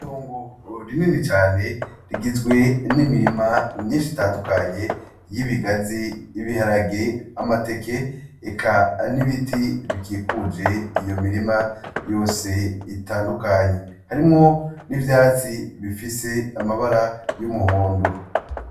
Itongo rinini cane rigizwe nimirima myinshi itandukanye, y'ibigazi, ibiharage, amateke, eka n'ibiti bikikuje iyo mirima yose itandukanye. Harimwo n'ivyatsi bifise amabara y'umuhondo.